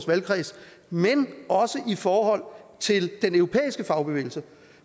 valgkreds men også i forhold til den europæiske fagbevægelse